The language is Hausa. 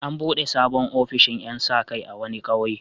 An buɗe sabon ofishin ƴan sa-kai a wani ƙauye.